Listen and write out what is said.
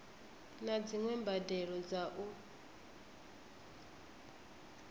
naa dziwe mbadelo dza u